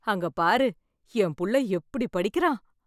அங்க பாரு என் புள்ள எப்படி படிக்கிறான்